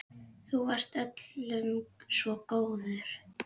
Þú varst öllum svo góður.